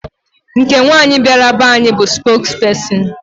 Nke nwaanyị bịara be anyị bụ spokesperson.